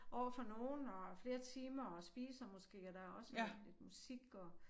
Overfor nogen og flere timer og spiser måske og der også lidt musik og